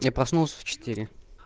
я проснулся в четыре